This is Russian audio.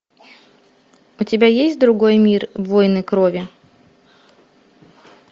у тебя есть другой мир воины крови